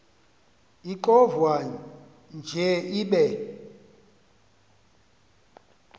ixovwa nje ibe